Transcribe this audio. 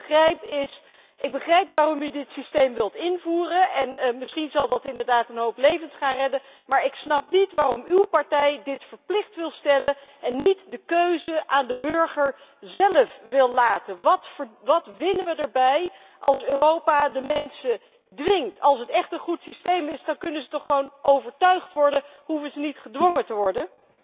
Wat ik niet begrijp ik heb er begrip voor waarom u dit systeem wilt invoeren en misschien zal dat inderdaad een hoop levens gaan redden, maar ik snap niet waarom uw partij dit verplicht wil stellen en niet de keuze aan de burger zelf wil laten. Wat winnen wij erbij als Europa de mensen dwingt? Als het echt een goed systeem is dan kan de burger toch gewoon overtuigd worden en hoeft hij toch niet gedwongen te worden?